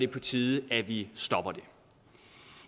på tide at vi stopper det